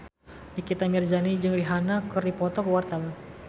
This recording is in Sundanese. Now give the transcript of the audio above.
Nikita Mirzani jeung Rihanna keur dipoto ku wartawan